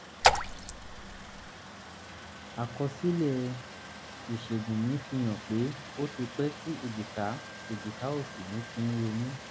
àkọsílẹ̀ um ìṣègùn mi fihàn pé ó ti pẹ́ tí èjìká èjìká òsì mi ti ń ro mí